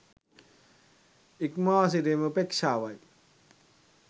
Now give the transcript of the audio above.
ඉක්මවා සිටීම උපේක්ෂාවයි.